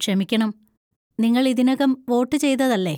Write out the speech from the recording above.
ക്ഷമിക്കണം, നിങ്ങൾ ഇതിനകം വോട്ട് ചെയ്തതല്ലേ?